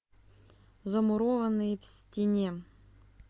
замурованные в стене